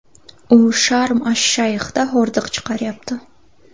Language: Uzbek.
U Sharm-ash-Shayxda hordiq chiqaryapti.